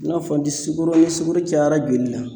I n'a fɔ ni sukoro ni sukoro cayara joli la.